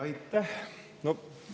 Aitäh!